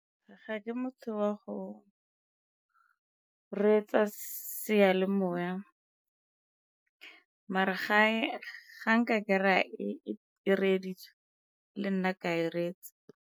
Ga ke motho wa go reetsa seyalemoya mara gae ga nka kry-a e reeditswe le nna ka e reetsa.